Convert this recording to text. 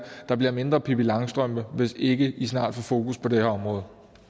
der bliver mindre pippi langstrømpe hvis vi ikke snart får fokus på det her område